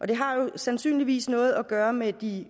det har jo sandsynligvis noget at gøre med de